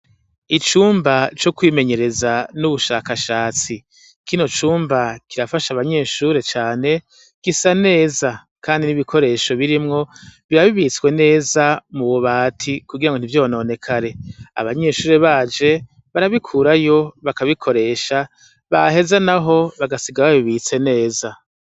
Icumba ci kwimenyereza n'ubushakashatsi. Kino cumba, kirafasha abanyeshure cane, gisa neza kandi n'ibikoresho birimwo, biba bibitswe neza mububati , kugira ngo ntivyononekare. Abanyeshure baje, barabikurayo, bakabikoresha, baheza naho, bakabibika neza.